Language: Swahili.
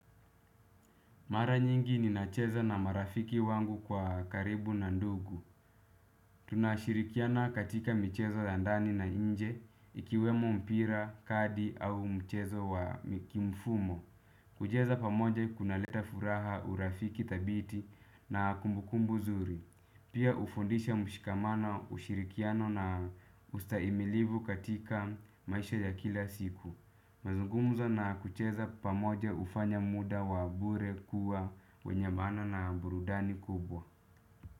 Mara nyingi ninacheza na marafiki wangu kwa karibu na ndugu. Tunashirikiana katika mchezo ya ndani na nje, ikiwemo mpira, kadi au mchezo wa mkimfumo. Kucheza pamoja kunaleta furaha urafiki thabiti na kumbukumbu nzuri. Pia hufundisha mshikamano ushirikiano na ustahimilivu katika maisha ya kila siku. Mazungumzo na kucheza pamoja hufanya muda wa bure kuwa wenye maana na burudani kubwa.